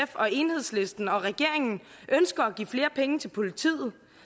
og enhedslisten og regeringen ønsker at give flere penge til politiet